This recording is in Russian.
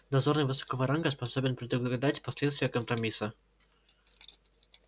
дозорный высокого ранга способен предугадать последствия компромисса